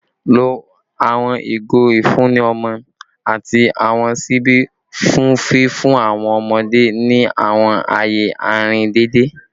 Lo awọn igo ifunni ọmọ ati awọn ṣibi fun fifun awọn ọmọde ni awọn aaye arin deede